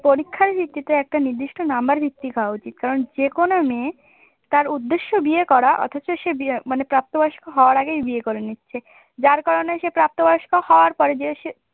পরীক্ষার ভিত্তিতে একটা নির্দিষ্ট নাম্বার ভিত্তিক হওয়া উচিত কারণ যে কোন মেয়ে তার উদ্দেশ্য বিয়ে করা অথচ সে মানে প্রাপ্ত বয়স্ক হওয়ার আগেই বিয়ে করে নিচ্ছে যার কারণে সে প্রাপ্ত বয়স্ক হওয়ার পরে যে